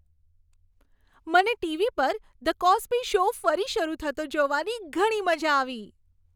મને ટીવી પર "the Cosby Show" ફરી શરૂ થતો જોવાની ઘણી મજા આવી.